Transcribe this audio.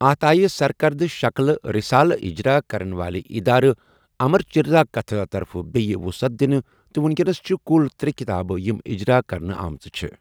اَتھ آیہِ سركردٕ شكلہٕ رِسالہٕ اجرا كرن والہِ ادارٕ امر چِتر كتھا طرفہٕ بییہ وٗصعت دِنہٕ تہٕ وٗنكینس چھِ كٗل ترے٘ كِتابہٕ یِم اجرا كرنہٕ آمٕژٕ چھے٘ ۔